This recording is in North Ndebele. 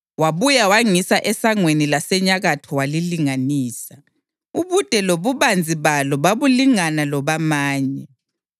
Wabuya wangisa esangweni lasenyakatho walilinganisa. Ubude lobubanzi balo babulingana lobamanye,